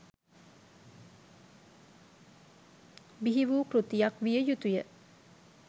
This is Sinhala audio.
බිහි වූ කෘතියක් විය යුතු ය.